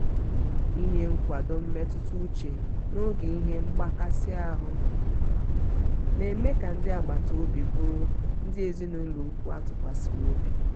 inye nkwado mmetụta uche n'oge ihe mgbakasi ahụ um na-eme ka ndị agbata obi bụrụ ndị ezinaụlọ ùkwù a tụkwasịrị obi.